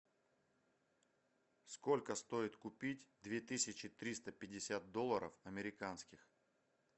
сколько стоит купить две тысячи триста пятьдесят долларов американских